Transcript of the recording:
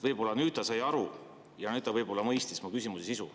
Võib-olla nüüd ta sai aru ja mõistis mu küsimuse sisu.